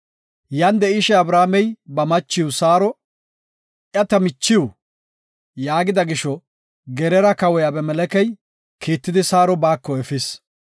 Yan de7ishe Abrahaamey ba machiw Saaro, “Iya ta michiw” yaagida gisho, Geraara kawoy Abimelekey kiittidi Saaro baako efis.